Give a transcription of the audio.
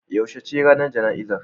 Yaushe ne ranar jana'izar?